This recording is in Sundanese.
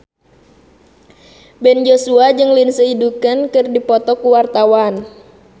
Ben Joshua jeung Lindsay Ducan keur dipoto ku wartawan